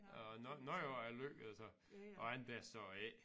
Og noget af det er lykkedes ham og andet det er så ikke